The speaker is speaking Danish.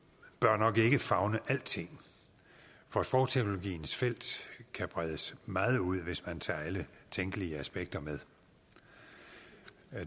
nok ikke bør favne alting for sprogteknologiens felt kan bredes meget ud hvis man tager alle tænkelige aspekter med